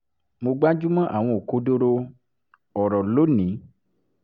mo gbájú mọ́ àwọn òkodoro ọ̀rọ̀ lónìí